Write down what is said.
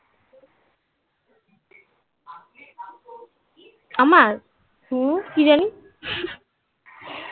আমার? হুম. কি জানি